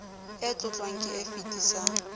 e tlotlwang ke e fetisang